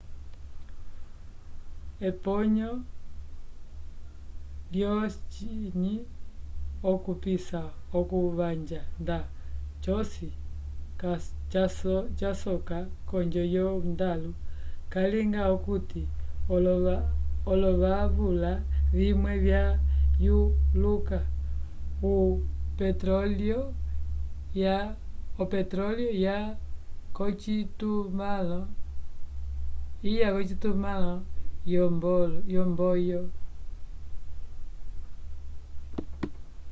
eponyo lyo ciny okupisa okuvanja nda cosi casoka konjo yo ndalu calinga okuti olovavula vimwe ya yuluka o petrolio ya kocitumãlo yo mboio